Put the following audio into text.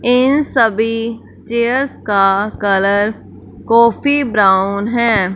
इन सभी चेयर्स का colour coffee brown है।